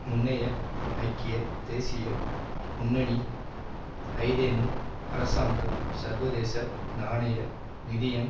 முன்னைய ஐக்கிய தேசிய முன்னணி ஐதேமு அரசாங்கம் சர்வதேச நாணய நிதியம்